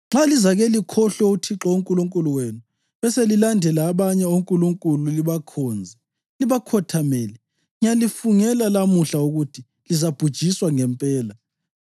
Nxa lizake likhohlwe uThixo uNkulunkulu wenu beselilandela abanye onkulunkulu libakhonze libakhothamele, ngiyalifungela lamuhla ukuthi lizabhujiswa ngempela.